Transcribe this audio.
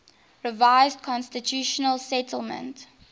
revised constitutional settlement